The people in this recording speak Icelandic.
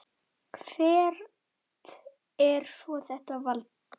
Hvert er svo þetta vald?